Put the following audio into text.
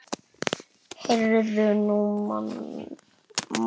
Heyrðu, nú man ég.